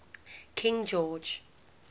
king george